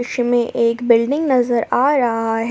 एक बिल्डिंग नजर आ रहा है।